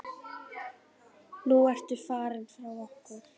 Nú ertu farinn frá okkur.